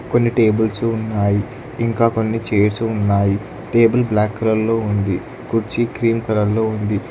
కొన్ని టేబుల్సు ఉన్నాయి ఇంకా కొన్ని చేయిర్స్ ఉన్నాయి టేబుల్ బ్లాక్ కలర్ లో ఉంది కుర్చీ క్రీమ్ కలర్ లో ఉంది.